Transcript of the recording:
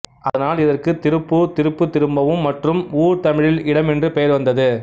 அதனால் இதற்கு திருப்பூர் திருப்பு திரும்பவும் மற்றும் ஊர் தமிழில் இடம் என்று பெயர் வந்தது